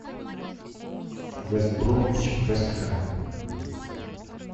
вест бромвич вест хэм